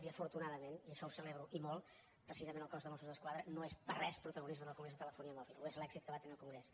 i afortunadament i això ho celebro i molt precisament el cos de mossos d’esquadra no és per res protagonista del congrés de telefonia mòbil ho és l’èxit que va tenir el congrés